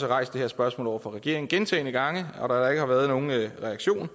rejst det her spørgsmål over for regeringen gentagne gange og ikke har været nogen reaktion